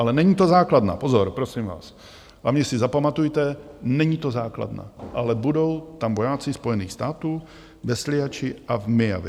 Ale není to základna, pozor, prosím vás, hlavně si zapamatujte, není to základna, ale budou tam vojáci Spojených států - ve Sliači a v Myjavě.